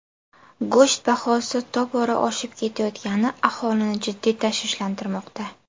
Go‘sht bahosi tobora oshib ketayotgani aholini jiddiy tashvishlantirmoqda.